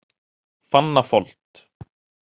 Fannafold